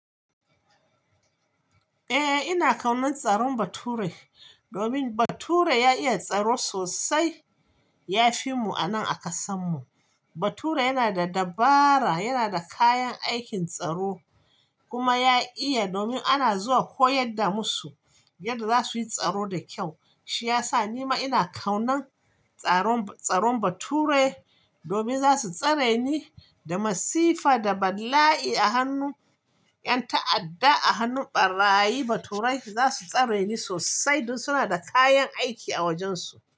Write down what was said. Eh, ina kaunar tsaron bature domin bature ya iya tsaro sosai. Yafi mu anan a ƙasan mu. Bature yana da dabara, yana da kayan aikin tsaro kuma ya iya, domin ana zuwa koyar da masu yadda za su yi tsaro da kyau. Shi ya sa nima ina kaunan tsaron bature domin za su tsare ni da masifa da bala'i a hannun yan ta'adda, a hannun ɓarayin baturai. Zasu tsare ni sosai don suna da kayan aiki a wajen su.